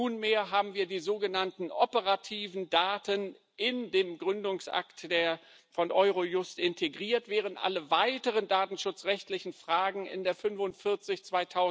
Nunmehr haben wir die sogenannten operativen Daten in den Gründungsakt von Eurojust integriert, während alle weiteren datenschutzrechtlichen Fragen in der Verordnung 45 Nr.